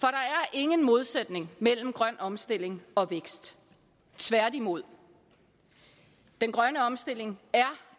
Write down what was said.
ingen modsætning mellem grøn omstilling og vækst tværtimod den grønne omstilling er